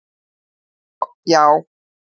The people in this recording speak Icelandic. Svo, já!